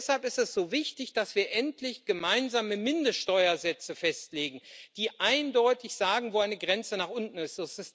Deshalb ist es so wichtig, dass wir endlich gemeinsame Mindeststeuersätze festlegen, die eindeutig sagen, wo eine Grenze nach unten ist.